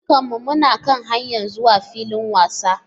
Dukkanmu muna kan hanyar zuwa filin wasan.